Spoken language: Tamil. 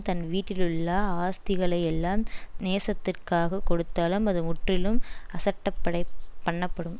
தன் வீட்டிலுள்ள ஆஸ்திகளையெல்லாம் நேசத்திற்காகக் கொடுத்தாலும் அது முற்றிலும் அசட்டப்படைப்பண்ணப்படும்